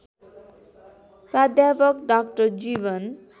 प्राध्यापक डाक्टर जीवन